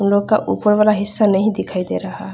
उ लोग का उपर वाला हिस्सा नही दिखाई दे रहा है।